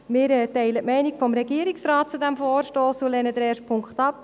Wir teilen die Meinung des Regierungsrates zu diesem Vorstoss und lehnen den ersten Punkt ab;